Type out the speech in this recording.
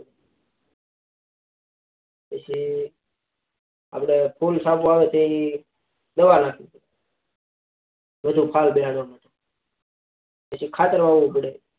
પછી આપડે ફૂલ સારા આવે તેની દવા નાખવી પડ વધુ ફળ બેસાડવા માટે પછી ખાતર વાવું પદ